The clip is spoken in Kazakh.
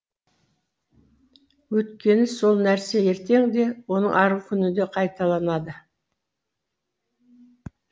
өйткені сол нәрсе ертең де оның арғы күні де қайталанады